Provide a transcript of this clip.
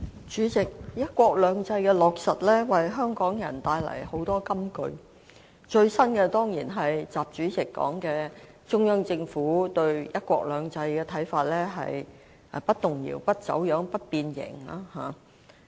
主席，"一國兩制"的落實，為香港人帶來很多金句，最新的當然是習主席說的中央政府對"一國兩制"的看法是"不動搖、不走樣、不變形"。